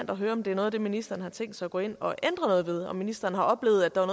at høre om det er noget af det ministeren har tænkt sig at gå ind og ændre noget ved og om ministeren har oplevet at der var